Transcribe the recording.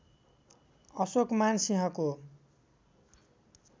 अशोकमान सिंहको